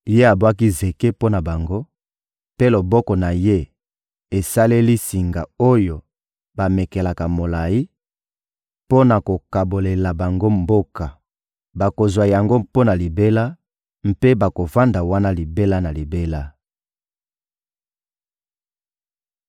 Ye abwaki zeke mpo na bango mpe loboko na Ye esaleli singa oyo bamekelaka molayi, mpo na kokabolela bango mboka. Bakozwa yango mpo na libela mpe bakovanda wana libela na libela.